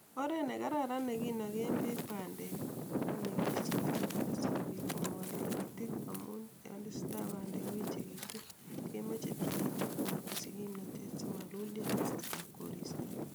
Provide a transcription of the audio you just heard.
Oret ne Kararan ne kinogen beek bandek konekisochin asikobiit kongwol tigitik amun yon tesetai bandek koechekitu kemoche tikitikwak kosich kimnotet simalulyo en kasartab koristo.